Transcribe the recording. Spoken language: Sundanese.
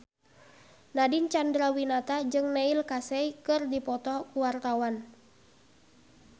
Nadine Chandrawinata jeung Neil Casey keur dipoto ku wartawan